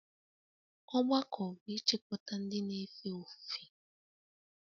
Ọgbakọ bụ ịchịkọta ndị na-efe ofufe